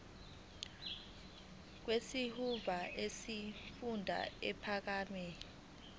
kwisikhungo semfundo ephakeme